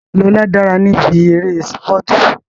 Lóla dára níbi eré sípọ̀tù